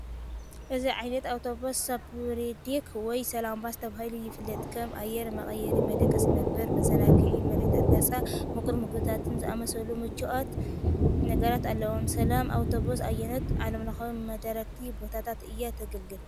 እዚ ዓይነት ኣውቶቡስ "Superdeck" ወይ (Salam Bus) ተባሂሉ ይፍለጥ፤ ከም ኣየር መቀየሪ፡ ምድቃስ መንበር፡ መዘናግዒ ምርኢታትን ነጻ ምቁር መግብታትን ዝኣመሰሉ ምቹኣት ነገራት ኣለዉዎ።"ሰላም ኣውቶቡስ" ኣየኖት ዓለምለኻዊ መዳረግቲ ቦታታት እያ ተገልግል?